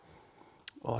og